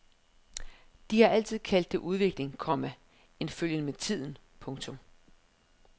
De har altid kaldt det udvikling, komma en følgen med tiden. punktum